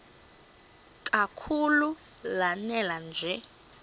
kakhulu lanela nje